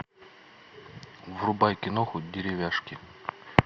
врубай киноху деревяшки